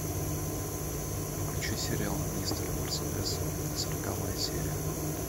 включи сериал мистер мерседес сороковая серия